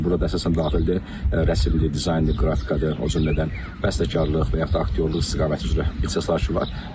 Burada əsasən daxildir rəssamlıqdır, dizayndır, qrafikadır, o cümlədən bəstəkarlıq və yaxud aktyorluq istiqaməti üzrə ixtisaslaşır var.